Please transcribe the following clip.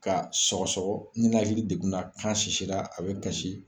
Ka sɔgɔsɔgɔ, i nanakili degun na, kan sisira a bɛ kasi.